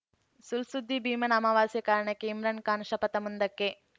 ಸುಳ್‌ ಸುದ್ದಿ ಭೀಮನ ಅಮಾವಾಸ್ಯೆ ಕಾರಣಕ್ಕೆ ಇಮ್ರಾನ್‌ ಖಾನ್‌ ಶಪಥ ಮುಂದಕ್ಕೆ